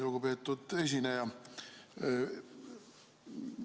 Lugupeetud esineja!